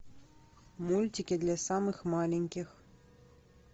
мультики для самых маленьких